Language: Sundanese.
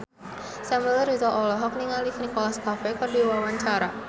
Samuel Rizal olohok ningali Nicholas Cafe keur diwawancara